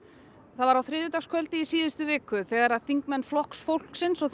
það var á þriðjudagskvöldi í síðustu viku þegar þingmenn Flokks fólksins og